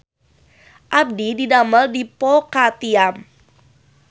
Abdi didamel di Po Ka Tiam